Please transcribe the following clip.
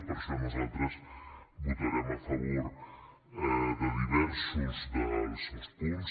per això nosaltres votarem a favor de diversos dels seus punts